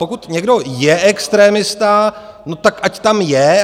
Pokud někdo je extremista, no tak ať tam je.